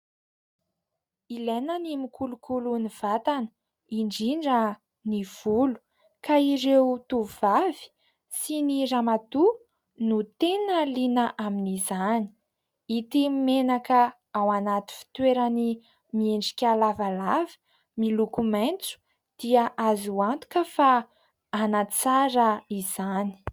Ilaina ny mikolokolo ny vatana, indindra ny volo. Ka ireo tovovavy sy ny ramatoa no tena liana amin'izany. Ity menaka ao anaty fitoerany miendrika lavalava, miloko maitso dia azo antoka fa hanatsara izany.